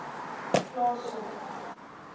plaaslike